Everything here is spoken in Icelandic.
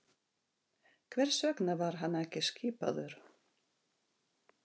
Hvers vegna var hann ekki skipaður?